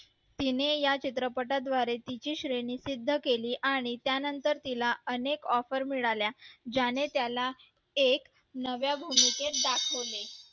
तिनी या चित्रपटा द्वारे तिची श्रेणी सिद्ध केली आणि त्या नंतर तिला अनेक offer मिळाल्या ज्याने त्याला एक नव्या भूमिकेत दाखवले